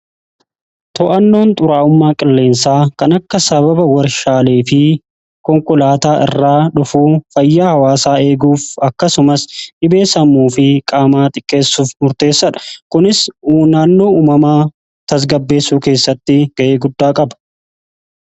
To'annoon xuraa'ummaa qilleensaa kan akka sababa warshaalee fi konkolaataa irraa dhufuu fayyaa hawaasaa eeguuf akkasumas dhibee sammuu fi qaamaa xiqqeessuuf murteessadha. Kunis huubaannoo uumamaa tasgabbeessuu keessatti ga'ee guddaa qaba. qaba.